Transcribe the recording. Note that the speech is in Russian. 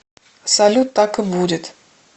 салют так и будет